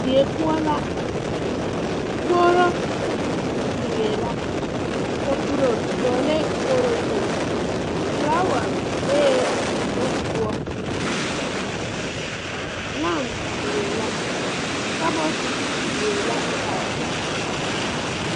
Die poɔ la kogro biŋee la kapuro dɔɔlɛɛ kogro zu flaawa bee dugo poɔ lamp biŋee la kabɔɔte yuoee la are.